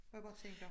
Hvor jeg bare tænker